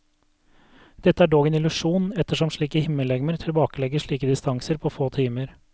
Dette er dog en illusjon, ettersom slike himmellegemer tilbakelegger slike distanser på få timer.